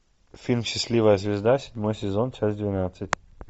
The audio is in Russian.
фильм счастливая звезда седьмой сезон часть двенадцать